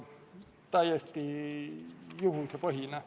Teile küsimusi ei ole.